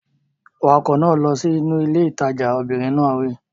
Wa ọkọ̀ náà lọ sí ilé ìtajà! Obìnrin náà wí.